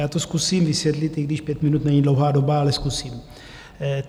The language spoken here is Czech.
Já to zkusím vysvětlit, i když pět minut není dlouhá doba, ale zkusím.